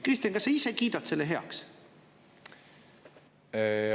Kristen, kas sa ise kiidad selle heaks?